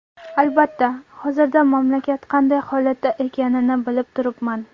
Albatta, hozirda mamlakat qanday holatda ekanini bilib turibman.